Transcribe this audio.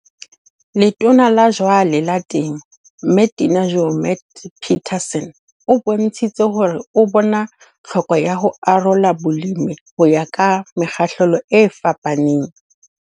Letona la jwale la Temo, Mme Tina Joemat-Pettersson o bontshitse hore o bona tlhoko ya ho arola bolemi ho ya ka mekgahlelo e fapaneng.